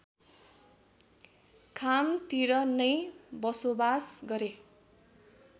खामतिर नै बसोबास गरे